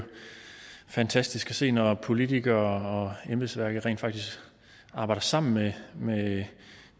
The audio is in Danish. fantastisk at se når politikere og embedsværket rent faktisk arbejder sammen med med